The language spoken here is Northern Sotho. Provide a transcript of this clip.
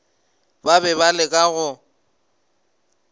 ba be ba leka go